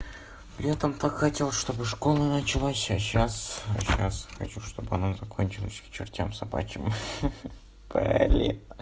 летом так хотел что бы школа началась а сейчас а сейчас хочу чтобы она закончилась к чертям собачьим ха-ха блин